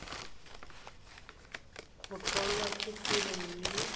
go tlholwa ke tiro mme